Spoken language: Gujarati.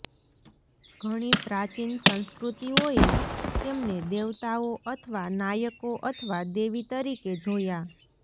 ઘણી પ્રાચીન સંસ્કૃતિઓએ તેમને દેવતાઓ અથવા નાયકો અથવા દેવી તરીકે જોયા